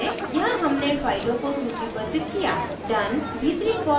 यहाँ हमने फाइलों को सूचीबद्ध किया done भीतरी for loop का अंत करता है